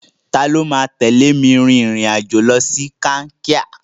Tani ó máa tẹ̀lé mi rìnrìn-àjò lọ sí Kankia?